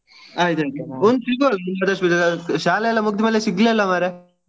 ಒಮ್ಮೆ ಸಿಗುವ ಶಾಲೆಯೆಲ್ಲಾ ಮುಗ್ದ್ ಮೇಲೆ ಸಿಗ್ಲೇ ಇಲ್ಲಾ ಮಾರ್ರೆ.